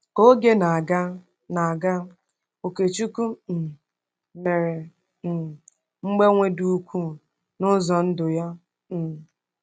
Ka oge na-aga, na-aga, Okechukwu um mere um mgbanwe dị ukwuu n’ụzọ ndụ ya. um